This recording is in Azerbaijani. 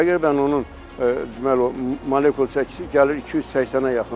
Təqribən onun deməli, onun molekul çəkisi gəlir 280-ə yaxındır.